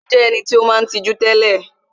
Ó jé eniti ó maa n tijú télè